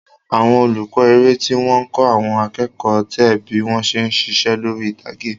Àwọn olùkọ́ eré tí wọ́n ń kọ́ àwọn akẹ́kọ̀ọ́ teac bí wọ́n ṣe ń ṣiṣẹ́ lórí ìtàgé.